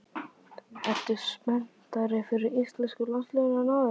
Ertu spenntari fyrir íslenska landsliðinu en áður?